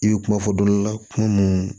I bɛ kuma fɔ dɔ la kuma mun